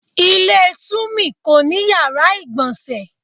Ilé Tùmí kò ní yàrá ìgbọ̀nsẹ̀